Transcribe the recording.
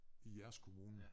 I jeres kommune